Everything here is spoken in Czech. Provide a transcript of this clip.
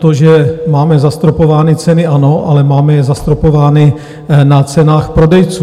To, že máme zastropovány ceny, ano, ale máme je zastropovány na cenách prodejců.